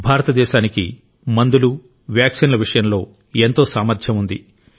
భారతదేశానికి మందులు వ్యాక్సిన్ల విషయంలో ఎంతో సామర్థ్యం ఉంది